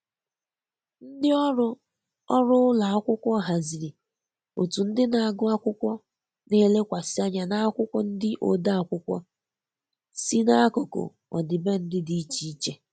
Ndị ọrụ ọrụ ụlọ akwụkwọ haziri otu ndị na-agụ akwụkwọ na-elekwasị anya n’akwụkwọ ndị ode akwụkwọ si n'akụkụ ọdịbendị dị iche iche.